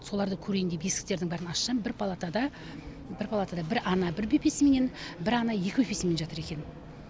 солардың көрейін деп есіктердің бәрін ашсам бір палатада бір палатада бір ана бір бөпесіменен бір ана екі бөпесіменен жатыр екен